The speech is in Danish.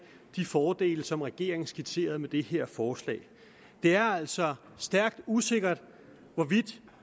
de fordele som regeringen skitserer med det her forslag det er altså stærkt usikkert hvorvidt